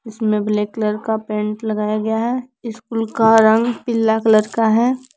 इसमें black colour का paint लगाया गया है स्कूल का रंग पीला कलर का है।